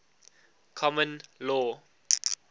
common law